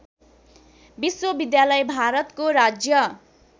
विश्वविद्यालय भारतको राज्य